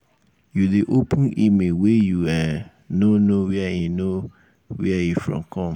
you dey open email wey you um no know where e know where e from come?